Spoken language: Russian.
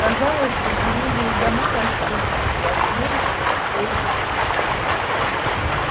казалось что деревья и дома растут из сплошной людской массы